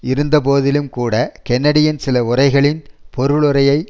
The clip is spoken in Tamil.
இருந்தபோதிலும் கூட கென்னடியின் சில உரைகளின் பொருளுரையை